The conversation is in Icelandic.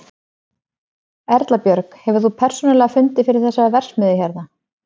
Erla Björg: Hefur þú persónulega fundið fyrir þessari verksmiðju hérna?